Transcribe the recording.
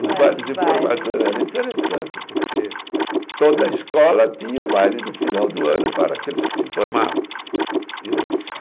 Os bailes de formatura eram interessante, porque toda escola tinha o baile do final do ano para aqueles que se formavam.